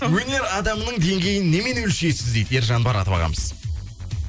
өнер адамының деңгейін немен өлшейсіз дейді ержан баратов ағамыз